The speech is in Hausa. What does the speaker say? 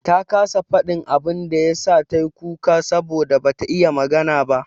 Ta kasa faɗin abin da ya sa ta kuka saboda bata iya magana ba.